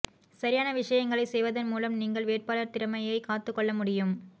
சரியான விஷயங்களைச் செய்வதன் மூலம் நீங்கள் வேட்பாளர் திறமையைக் காத்துக்கொள்ள முடியும்